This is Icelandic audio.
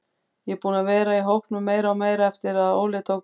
Ég er búinn að vera í hópnum meira og meira eftir að Óli tók við.